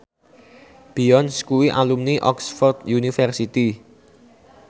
Beyonce kuwi alumni Oxford university